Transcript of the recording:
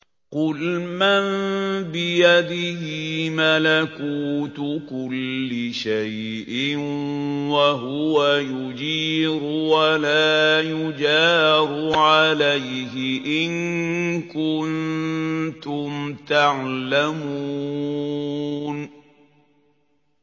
قُلْ مَن بِيَدِهِ مَلَكُوتُ كُلِّ شَيْءٍ وَهُوَ يُجِيرُ وَلَا يُجَارُ عَلَيْهِ إِن كُنتُمْ تَعْلَمُونَ